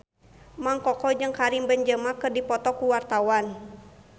Mang Koko jeung Karim Benzema keur dipoto ku wartawan